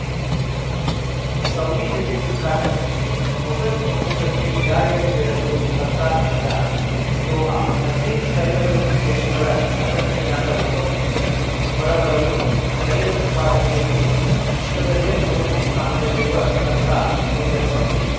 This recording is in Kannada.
ಸೌದಿ ಜೊತೆ ತಿಕ್ಕಾಟ ಹಿನ್ನೆಲೆ ಒಪೆಕ್‌ ಒಕ್ಕೂಟಕ್ಕೆ ವಿದಾಯ ಹೇಳಲು ಕರ್ತಾ ನಿರ್ಧಾರ ದೋಹಾ ಹದಿನೈದು ತೈಲ ರಫ್ತು ದೇಶಗಳ ಸಂಘಟನೆಯಾದ ಒಪಕ್‌ನಿಂದ ಹೊರಬರಲು ತೈಲ ಉತ್ಪಾದನೆಯಲ್ಲಿ ವಿಶ್ವದಲ್ಲೇ ಮೂರನೇ ಸ್ಥಾನದಲ್ಲಿರುವ ಕರ್ತಾ ನಿರ್ಧರಿಸಿದೆ